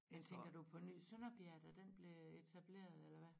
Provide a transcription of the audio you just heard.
Ja tænker du på Ny Sønderbjerg da den blev etableret eller hvad